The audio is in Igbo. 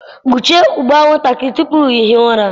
Kpuchie ụgbụ anwụnta gị tupu ị hie ụra.